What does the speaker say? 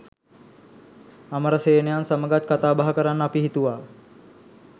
අමරසේනයන් සමගත් කතාබහ කරන්න අපි හිතුවා